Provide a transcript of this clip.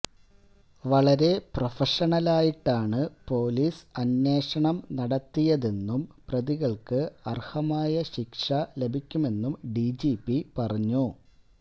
വളരെ പ്രൊഫഷണലായിട്ടാണ് പൊലീസ് അന്വേഷണം നടത്തിയതെന്നും പ്രതികൾക്ക് അർഹമായ ശിക്ഷ ലഭിക്കുമെന്നും ഡിജിപി പറഞ്ഞു